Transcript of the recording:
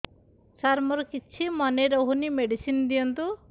ସାର ମୋର କିଛି ମନେ ରହୁନି ମେଡିସିନ ଦିଅନ୍ତୁ